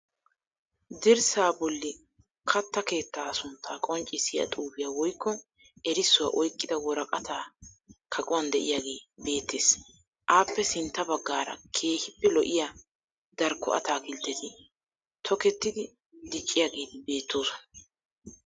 Dirssaa bolli katta keettaa suntta qonccissiya xuufiya woyikko erissuwa oyqqida woraqata kaquwan de'iyagee beettes. Appe sintta baagaara keehippe lo'iya darikko ataakiltteti tokettidi dicciyageeti beettoosona.